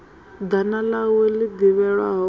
ḓana ḽawe ḽi ḓivhelwaho u